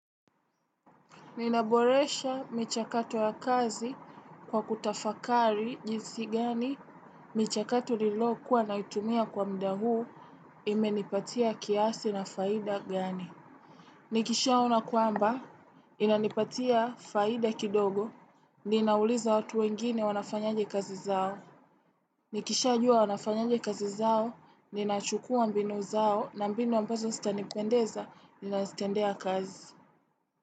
Ninaboresha michakato ya kazi kwa kutafakari jinsi gani michakato ninayo kuwa naitumia kwa muda huu imenipatia kiasi na faida gani. Nikishaona kwamba inanipatia faida kidogo ninauliza watu wengine wanafanyaje kazi zao. Nikishajuwa wanafanyaje kazi zao ninachukua mbinu zao na mbinu ambazo sitanipendeza ninazitendea kazi.